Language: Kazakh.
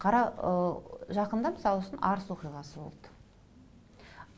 жақында мысал үшін арыс оқиғасы болды